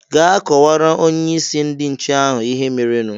"Gaa kọwara Onyeisi ndị nche ahụ ihe merenu"